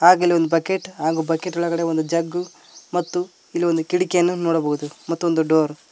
ಹಾಗೆ ಇಲ್ಲೊಂದು ಬಕೆಟ್ ಹಾಗು ಬಕೆಟ್ ಒಳಗಡೆ ಒಂದು ಜಗ್ ಮತ್ತು ಇಲ್ಲೊಂದು ಕಿಟಕಿಯನ್ನು ನೋಡಬಹುದು ಮತ್ತೊಂದು ಡೋರ್ .